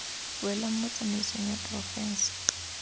welang mo tsamaisong ya porofense